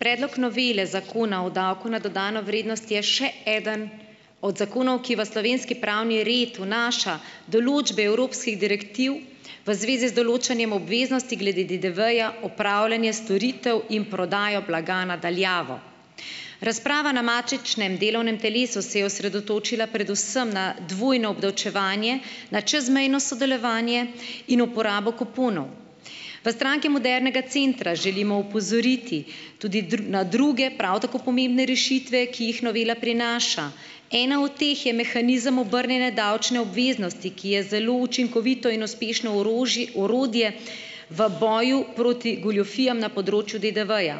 Predlog novele zakona o davku na dodano vrednost je še eden od zakonov, ki v slovenski pravni red vnaša določbe evropskih direktiv v zvezi z določanjem obveznosti glede DDV-ja, opravljanja storitev in prodajo blaga na daljavo. Razprava na matičnem delovnem telesu se je osredotočila predvsem na dvojno obdavčevanje, na čezmejno sodelovanje in uporabo kuponov. V Stranki modernega centra želimo opozoriti tudi na druge, prav tako pomembne rešitve, ki jih novela prinaša. Ena od teh je mehanizem obrnjene davčne obveznosti, ki je zelo učinkovito in uspešno orodje v boju proti goljufijam na področju DDV-ja.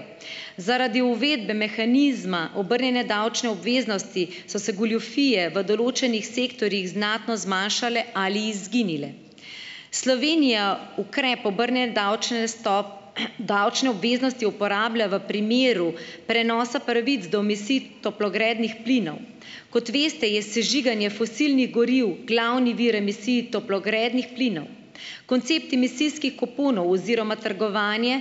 Zaradi uvedbe mehanizma obrnjene davčne obveznosti so se goljufije v določenih sektorjih znatno zmanjšale ali izginile. Slovenija ukrep obrnjene davčne davčne obveznosti uporablja v primeru prenosa pravic do toplogrednih plinov. Kot veste, je sežiganje fosilnih goriv glavni vir emisij toplogrednih plinov. Koncept emisijskih kuponov oziroma trgovanje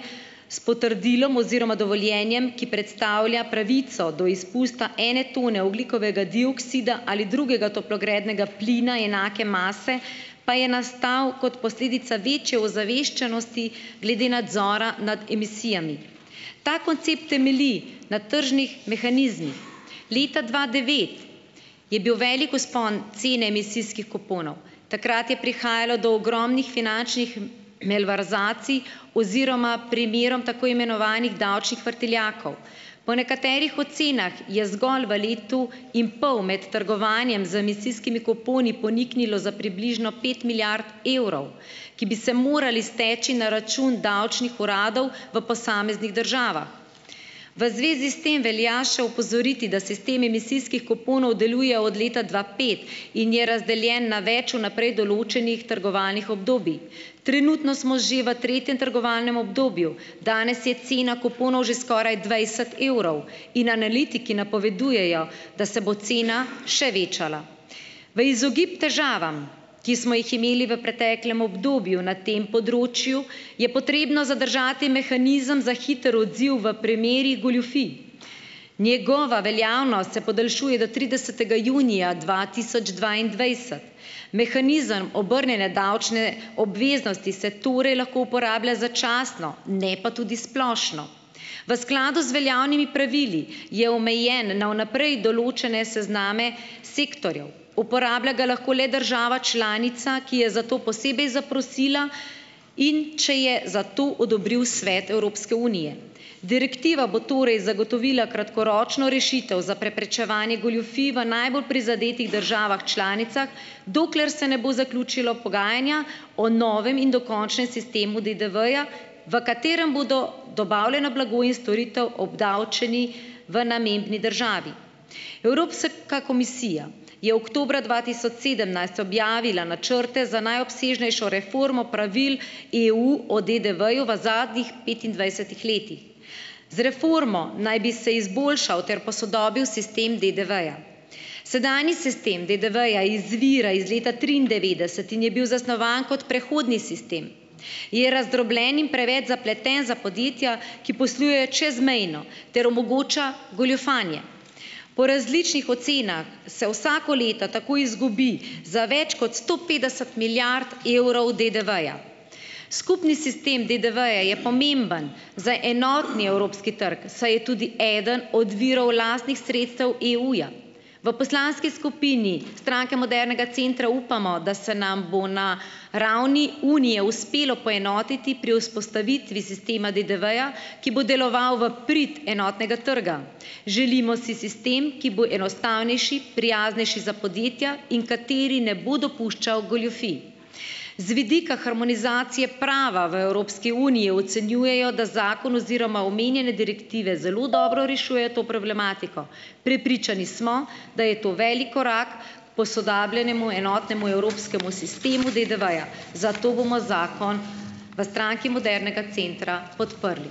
s potrdilom oziroma dovoljenjem, ki predstavlja pravico do izpusta ene tone ogljikovega dioksida ali drugega toplogrednega plina enake mase, pa je nastal kot posledica večje ozaveščenosti glede nadzora nad emisijami. Ta koncept temelji na tržnih mehanizmih. Leta dva devet je bil velik vzpon cene emisijskih kuponov. Takrat je prihajalo do ogromnih finančnih malverzacij oziroma primerov tako imenovanih davčnih vrtiljakov. Po nekaterih ocenah je zgolj v letu in pol med trgovanjem z emisijskimi kuponi poniknilo za približno pet milijard evrov, ki bi se morali steči na račun davčnih uradov v posameznih državah. V zvezi s tem velja še opozoriti, da sistem emisijskih kuponov deluje od leta dva pet in je razdeljen na več vnaprej določenih trgovalnih obdobij. Trenutno smo že v tretjem trgovalnem obdobju. Danes je cena kuponov že skoraj dvajset evrov in analitiki napovedujejo, da se bo cena še večala. V izogib težavam, ki smo jih imeli v preteklem obdobju na tem področju, je potrebno zadržati mehanizem za hiter odziv v primerih goljufij. Njegova veljavnost se podaljšuje do tridesetega junija dva tisoč dvaindvajset. Mehanizem obrnjene davčne obveznosti se torej lahko uporablja začasno. Ne pa tudi splošno. V skladu z veljavnimi pravili je omejen na vnaprej določene sezname sektorjev. Uporablja ga lahko le država članica, ki je zato posebej zaprosila, in če je za to odobril Svet Evropske unije. Direktiva bo torej zagotovila kratkoročno rešitev za preprečevanje goljufij v najbolj prizadetih državah članicah, dokler se ne bo zaključilo pogajanja o novem in dokončnem sistemu DDV-ja, v katerem bodo dobavljeni blago in storitev obdavčeni v namembni državi. Evrops- ka komisija je oktobra dva tisoč sedemnajst objavila načrte za najobsežnejšo reformo pravil EU o DDV-ju v zadnjih petindvajsetih letih. Z reformo naj bi se izboljšal ter posodobil sistem DDV-ja. Sedanji sistem DDV-ja izvira iz leta triindevetdeset in je bil zasnovan kot prehodni sistem. Je razdrobljen in preveč zapleten za podjetja, ki poslujejo čezmejno, ter omogoča goljufanje. Po različnih ocenah se vsako leto tako izgubi za več kot sto petdeset milijard evrov DDV-ja. Skupni sistem DDV-ja je pomemben za enotni evropski trg, saj je tudi eden od virov lastnih sredstev EU-ja. V poslanski skupini Stranke modernega centra upamo, da se nam bo na ravni unije uspelo poenotiti pri vzpostavitvi sistema DDV-ja, ki bo deloval v prid enotnega trga. Želimo si sistem, ki bo enostavnejši, prijaznejši za podjetja in kateri ne bo dopuščal goljufij. Z vidika harmonizacije prava v Evropski uniji ocenjujejo, da zakon oziroma omenjene direktive zelo dobro rešuje to problematiko. Prepričani smo, da je to velik korak k posodobljenemu enotnemu evropskemu sistemu DDV-ja, zato bomo zakon v Stranki modernega centra podprli.